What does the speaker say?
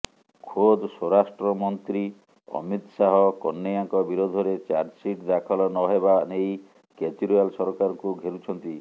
ଖୋଦ୍ ସ୍ୱରାଷ୍ଟ୍ର ମନ୍ତ୍ରୀ ଅମିତ ଶାହ କହ୍ନେୟାଙ୍କ ବିରୋଧରେ ଚାର୍ଜସିଟ ଦାଖଲ ନହେବା ନେଇ କେଜ୍ରିୱାଲ ସରକାରଙ୍କୁ ଘେରୁଛନ୍ତି